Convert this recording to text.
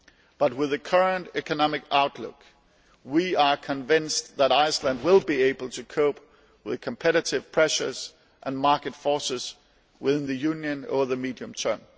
But with the current economic outlook, we are convinced that Iceland will be able to cope with competitive pressures and market forces within the Union over the medium term.